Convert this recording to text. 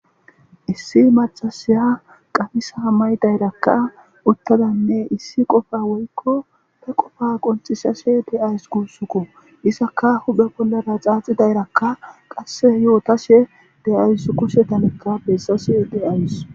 Issi macasiya qamisa may dayrakka uttadanne issi qofa woykko he qofa qonxisashe de7ays kusuku isaka hube bollara xaaxidayrakka qasse yootashe de'ayss kushetanekka bessashe de'ays.